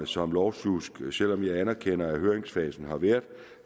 som lovsjusk selv om jeg anerkender at høringsfasen har været